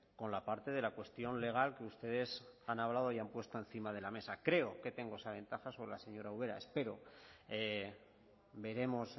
con la parte de la cuestión legal que ustedes han hablado y han puesto encima de la mesa creo que tengo esa ventaja sobre la señora ubera espero veremos